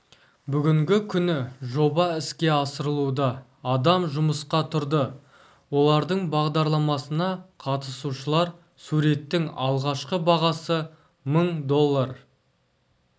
бүгінгі күні жоба іске асырылуда адам жұмысқа тұрды олардың бағдарламасына қатысушылар суреттің алғашқы бағасы мың доллар